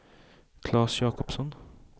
Claes Jakobsson